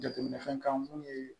Jateminɛfɛn kan mun ye